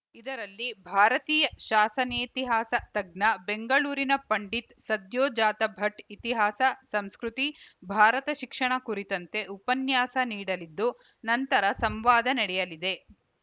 ಇದರಲ್ಲಿ ಭಾರತೀಯ ಶಾಸನೇತಿಹಾಸ ತಜ್ಞ ಬೆಂಗಳೂರಿನ ಪಂಡಿತ್‌ ಸದ್ಯೋಜಾತ ಭಟ್‌ ಇತಿಹಾಸ ಸಂಸ್ಕೃತಿ ಭಾರತ ಶಿಕ್ಷಣ ಕುರಿತಂತೆ ಉಪನ್ಯಾಸ ನೀಡಲಿದ್ದು ನಂತರ ಸಂವಾದ ನಡೆಯಲಿದೆ